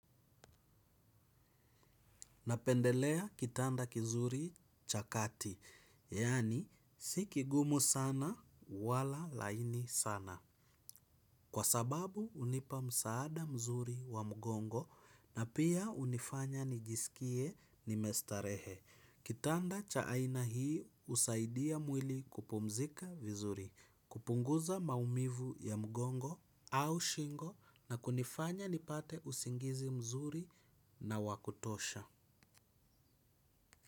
Napendelea kitanda kizuri cha kati, yaani si kigumu sana wala laini sana. Kwa sababu hunipa msaada mzuri wa mgongo na pia hunifanya nijisikie nimestarehe. Kitanda cha aina hii husaidia mwili kupumzika vizuri, kupunguza maumivu ya mgongo au shingo na kunifanya nipate usingizi mzuri na wa kutosha.